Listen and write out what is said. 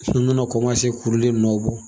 k'ulu le nɔ bɔ.